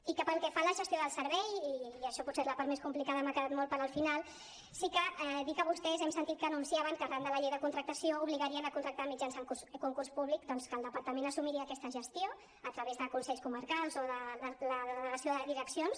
i pel que fa a la gestió del servei i això potser és la part més complicada i m’ha quedat molt pel final sí que dir que vostès hem sentit que anunciaven que arran de la llei de contractació obligarien a contractar mitjançant concurs públic i que el departament assumiria aquesta gestió a través de consells comarcals o de la delegació de direccions